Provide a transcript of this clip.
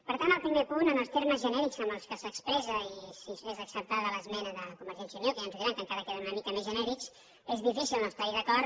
per tant amb el primer punt en els termes genèrics en què s’expressa i si és acceptada l’esmena de convergència i unió que ja ens ho diran que encara queden una mica més genèrics és difícil no estar hi d’acord